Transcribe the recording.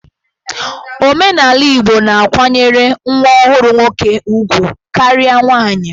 Omenala Igbo na-akwanyere nwa ọhụrụ nwoke ugwu karịa nwaanyị.